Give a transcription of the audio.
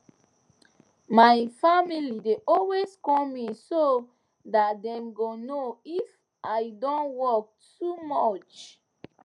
my family dey always call me so that dem go know if i don work too much